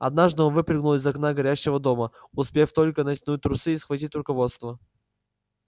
однажды он выпрыгнул из окна горящего дома успев только натянуть трусы и схватить руководство